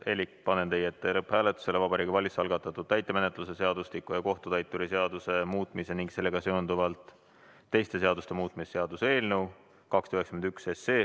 Elik panen teie ette lõpphääletusele Vabariigi Valitsuse algatatud täitemenetluse seadustiku ja kohtutäituri seaduse muutmise ning sellega seonduvalt teiste seaduste muutmise seaduse eelnõu 291.